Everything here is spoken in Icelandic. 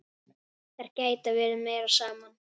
Þær geta verið meira saman.